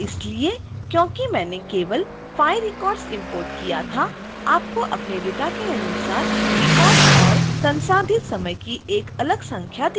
ऐसा इसलिए क्योंकि मैंने केवल 5 records इंपोर्ट किया था आपको अपने डेटा के अनुसार records और संसाधित समय की एक अलग संख्या दिखाई देगी